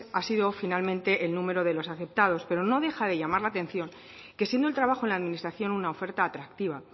ha sido finalmente el número de los afectados pero no deja de llamar la atención que siendo el trabajo en la administración una oferta atractiva